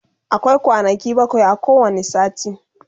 akwai kwanaki bakwai a kowani sati